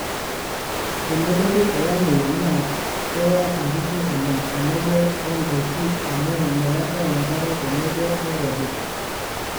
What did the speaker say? tenelotu olameyu naa keye nkishu oleng tenebo o ndaiki amu meetae enkare tenebo o nkujit